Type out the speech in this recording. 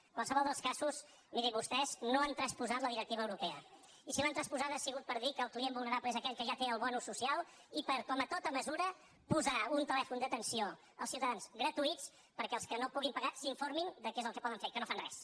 en qualsevol dels casos miri vostès no han transposat la directiva europea i si l’han transposada ha sigut per dir que el client vulnerable és aquell que ja té el bo social i per com a tota mesura posar un telèfon d’atenció als ciutadans gratuït perquè els que no puguin pagar s’informin de què és el que poden fer que no fan res